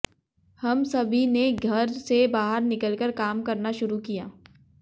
हम सभी ने घर से बाहर निकलकर काम करना शुरू किया